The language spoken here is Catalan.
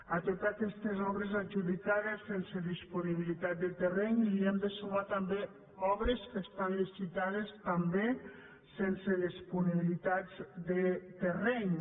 a totes aquestes obres adjudicades sense disponibilitat de terreny hi hem de sumar també obres que estan licitades també sense disponibilitat de terreny